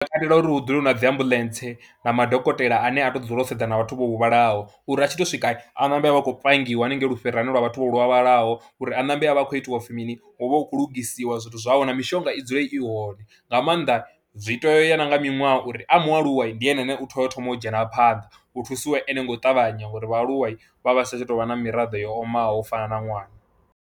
Ndi takalela uri hu dzule hu na dzi ambuḽentse na madokotela ane a tou dzula u sedzana na vhathu vho huvhalaho uri a tshi tou swika a nambe a vhe a khou pangiwa haningei lufhirani lwa vhathu vha lwalaho uri a ṋambe a vhe a khou itiwa u pfhi mini, hu vhe hu khou lugisiwa zwithu zwawe na mishonga i dzule i hone, nga maanḓa zwi tea u ya na nga miṅwaha uri a mualuwa ndi ene ane u tea u thoma u dzhena a phanḓa u thusiwe ene ngo ṱavhanya ngori vhaaluwa vha vha si tsha tou vha na miraḓo yo omaho u fana na ṅwana.